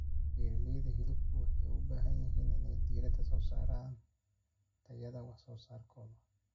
Beeralayda hilibku waxay u baahan yihiin inay diiradda saaraan tayada wax soo saarkooda.